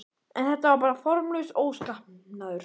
En þetta var bara formlaus óskapnaður.